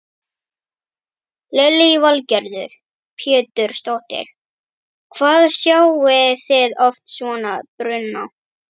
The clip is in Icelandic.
Lillý Valgerður Pétursdóttir: Hvað sjáið þið oft svona bruna?